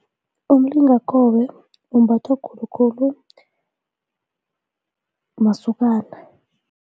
Umlingakobe umbathwa khulukhulu masokana.